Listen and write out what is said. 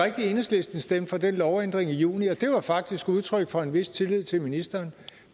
at enhedslisten stemte for den lovændring i juni og det var faktisk udtryk for en vis tillid til ministeren